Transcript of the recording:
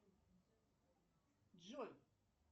джой